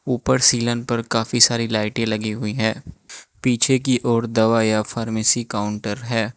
ऊपर सीलन पर काफी सारी लाइटें लगीं हुईं हैं पीछे की ओर दवाई या फार्मेसी काउंटर है।